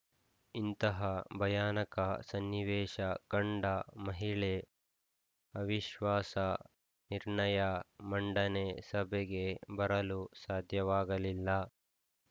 ಇಂತಹ ಭಯಾನಕ ಸನ್ನಿವೇಶ ಕಂಡ ಮಹಿಳೆ ಅವಿಶ್ವಾಸ ನಿರ್ಣಯ ಮಂಡನೆ ಸಭೆಗೆ ಬರಲು ಸಾಧ್ಯವಾಗಲಿಲ್ಲ